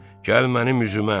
gəl mənim üzümə!